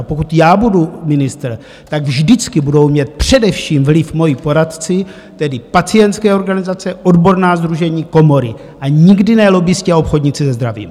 A pokud já budu ministr, tak vždycky budou mít především vliv moji poradci, tedy pacientské organizace, odborná sdružení, komory, a nikdy ne lobbisti a obchodníci se zdravím!